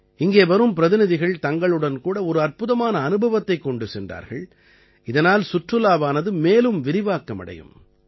இங்கே வரும் பிரதிநிதிகள் தங்களுடன் கூட ஒரு அற்புதமான அனுபவத்தைக் கொண்டு சென்றார்கள் இதனால் சுற்றுலாவானது மேலும் விரிவாக்கம் அடையும்